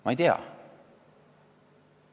Ma ei tea.